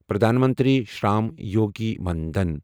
Pradhan Mantri Shram Yogi Maan Dhan